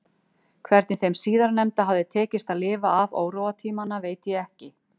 Hvernig þeim síðarnefnda hafði tekist að lifa af óróatímana veit ég ekki